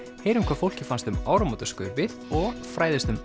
heyrum hvað fólki fannst um áramótaskaupið og fræðumst um